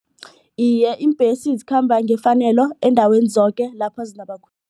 Iye, iimbhesi zikhamba ngefanelo eendaweni zoke lapha